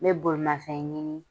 N bɛ bolimafɛn ɲini